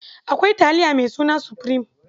Akwai taliya maisuna supreme.